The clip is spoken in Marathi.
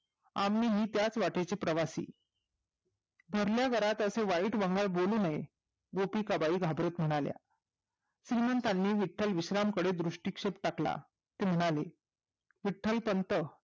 आम्ही हि त्याच वाटेची प्रवासी भरल्या घरात असे वाईट वंगाळ बोलू नये गोपिका बाई घाबरत म्हणाल्या श्रीमंतांनी विट्टल विश्राम कडे दृष्टीक्षेप टाकला ते म्हणाले विट्टलपंत